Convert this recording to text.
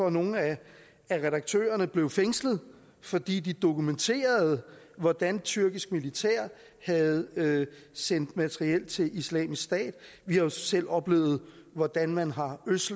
at nogle af redaktørerne blev fængslet fordi de dokumenterede hvordan tyrkisk militær havde sendt materiel til islamisk stat vi har selv oplevet hvordan man har